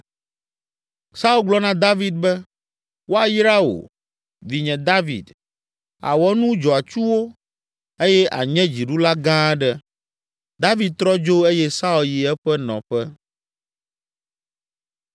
Saul gblɔ na David be, “Woayra wò, vinye David; àwɔ nu dzɔatsuwo eye ànye dziɖula gã aɖe.” David trɔ dzo eye Saul yi eƒe nɔƒe.